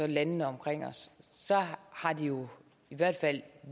landene omkring os har det jo i hvert fald